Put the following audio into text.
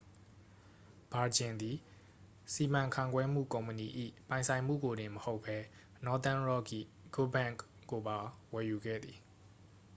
ဗာဂျင်သည် စီမံခန့်ခွဲမှု ကုမ္ပဏီ၏ ပိုင်ဆိုင်မှုကိုတင်မဟုတ်ဘဲ nothern rock ၏ good bank' ကိုပါ ဝယ်ယူခဲ့သည်